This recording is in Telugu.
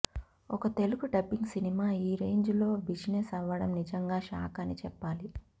ఒక తెలుగు డబ్బింగ్ సినిమా ఈ రేంజ్ లో బిజినెస్ అవ్వడం నిజంగా షాక్ అని చెప్పాలి